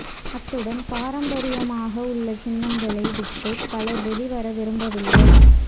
அத்துடன் பாரம்பரியமாக உள்ள சின்னங்களை விட்டு பலர் வெளிவர விரும்பவில்லை